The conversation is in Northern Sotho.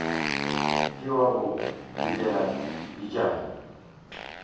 ke wa go fetela pejana